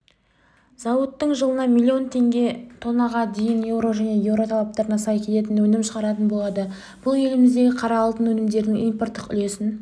зауыт жылына миллион тоннаға дейін еуро және еуро талаптарына сай келетін өнім шығаратын болады бұл еліміздегі қара алтын өнімдерінің импорттық үлесін